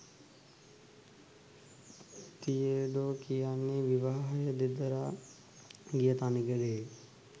තියඩෝ කියන්නේ විවාහය දෙදරා ගිය තනිකඩයෙක්.